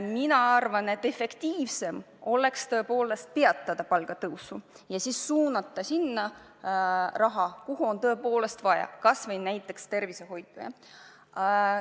Mina arvan, et efektiivsem oleks tõepoolest peatada palgatõus ja siis suunata see raha, kuhu on tõepoolest vaja, kas või tervishoidu.